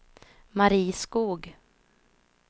Mari Skoog